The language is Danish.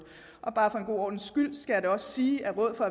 bare for god ordens skyld skal jeg da også sige at rådet for